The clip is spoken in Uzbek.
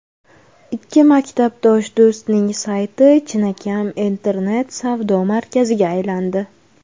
Ikki maktabdosh do‘stning sayti chinakam internet-savdo markaziga aylandi.